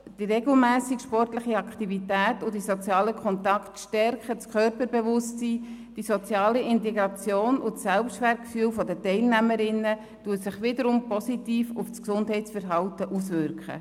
Die regelmässige sportliche Aktivität und die sozialen Kontakte stärken das Körperbewusstsein, die soziale Integration und das Selbstwertgefühl der Teilnehmerinnen, was sich wiederum positiv auf das Gesundheitsverhalten auswirkt.